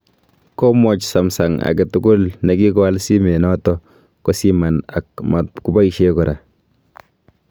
Komwaach Sumsung agetugul nekigaoal simenoto kosiman a matkoboisye kora